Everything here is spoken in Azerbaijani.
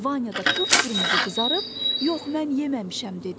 Vanya da qıpqırmızı qızarıb, yox mən yeməmişəm dedi.